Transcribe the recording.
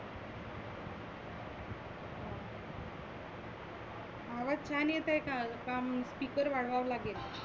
आवाज छान येतय का? का म speaker वाढवावा लागेल?